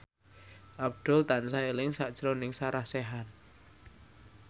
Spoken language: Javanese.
Abdul tansah eling sakjroning Sarah Sechan